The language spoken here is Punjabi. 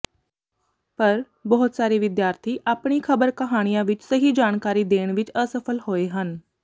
ਪਰ ਬਹੁਤ ਸਾਰੇ ਵਿਦਿਆਰਥੀ ਆਪਣੀ ਖਬਰ ਕਹਾਣੀਆਂ ਵਿਚ ਸਹੀ ਜਾਣਕਾਰੀ ਦੇਣ ਵਿਚ ਅਸਫਲ ਹੋਏ ਹਨ